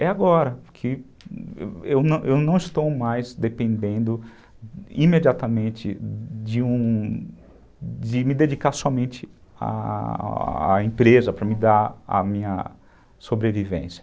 É agora, porque eu não não estou mais dependendo imediatamente de um... De me dedicar somente à empresa a a para me dar a minha sobrevivência.